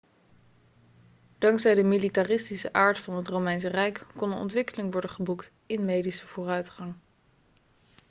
dankzij de militaristische aard van het romeinse rijk kon er ontwikkeling worden geboekt in medische vooruitgang